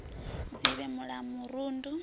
u dzivhela mul a murundu